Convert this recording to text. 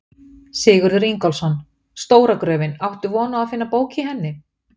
Sigurður Ingólfsson: Stóra gröfin, áttu von á að finna bók í henni?